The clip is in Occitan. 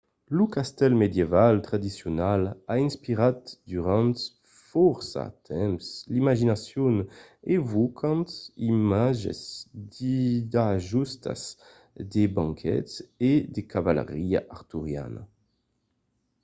lo castèl medieval tradicional a inspirat durant fòrça temps l’imaginacion evocant d’imatges d’ajustas de banquets e de cavalariá arturiana